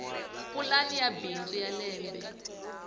pulani ya bindzu ya lembe